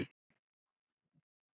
Annar ungur, hinn eldri.